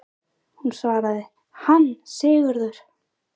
Hún svaraði: Hann Sigurður!